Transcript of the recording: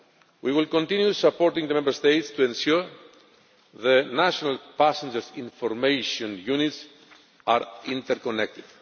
We will continue supporting the Member States to ensure the national passenger information units are inter connected.